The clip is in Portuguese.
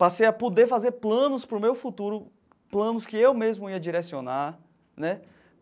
Passei a poder fazer planos para o meu futuro, planos que eu mesmo ia direcionar né.